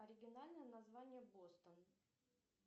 оригинальное название бостон